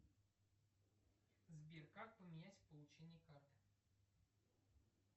сбер как поменять получение карты